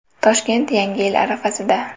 Toshkent yangi yil arafasida.